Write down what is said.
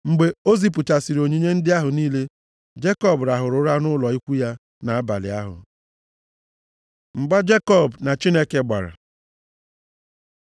Mgbe o zipụchasịrị onyinye ndị ahụ niile, Jekọb rahụrụ ụra nʼụlọ ikwu ya nʼabalị ahụ. Mgba Jekọb na Chineke gbara